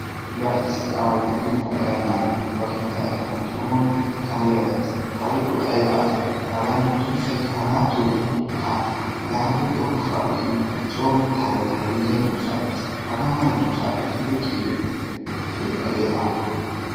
Laa issi aaway de'iyosaa erennan ba keettaa erennan coogidi kareera de'es. Hagee ayiba asee? Ayyoo duussayikka hagaattoyye ha! Laa hagee coo ushshaa uyidi tayili tayili giya duussaa de'es. Hagaa mala duussaappe I hayqqiighiyogee keha! Tuy hagee haakko.